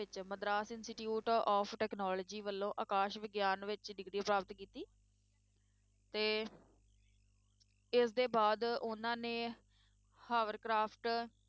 ਵਿੱਚ Madras intstitute of technology ਵਲੋਂ ਆਕਾਸ਼ ਵਿਗਿਆਨ ਵਿੱਚ degree ਪ੍ਰਾਪਤ ਕੀਤੀ ਤੇ ਇਸ ਦੇ ਬਾਅਦ ਉਹਨਾਂ ਨੇ ਹਾਵਰਕਰਾਫਟ,